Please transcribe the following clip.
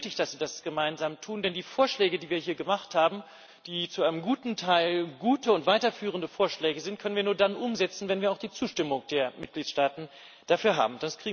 Es ist auch nötig, dass sie das gemeinsam tun, denn die Vorschläge, die wir hier gemacht haben, die zu einem guten Teil gute und weiterführende Vorschläge sind, können wir nur dann umsetzen, wenn wir auch die Zustimmung der Mitgliedstaaten dafür haben.